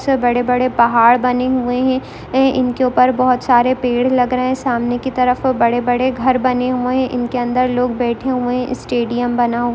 इसमें बड़े-बड़े पहाड़ बने हुए हैं इनके ऊपर बहोत सारे पेड़ लग रहें हैं सामने की तरफ बड़े-बड़े घर बने हुए हैं इनके अन्दर लोग बेठे हुए हैं सैडियम बना --